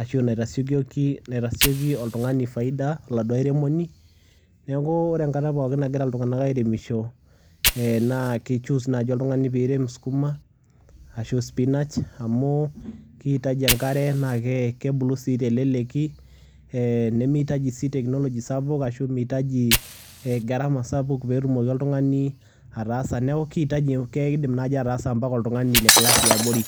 ashu naitasiokoki naitasioki oltung'ani faida., oladuo airemoni. Neeku ore enkata pookin nagira iltung'anak airemisho ee naa kichoose naaji oltung'ani piirem skuma ashu spinach amu kiitaji enkare naake kebulu sii teleleki ee nemiitaji sii teknology sapuk ashu miitaji ee gharama sapuk peetumoki oltung'ani ataasa. Neeku kiitaji keidim naaji ataasa mpaka oltung'ani le class e abori.